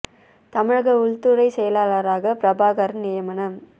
தமிழக உள்துறை செயலாளராக பிரபாகர் நியமனம்